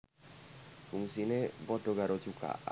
Fungsiné padha karo cukak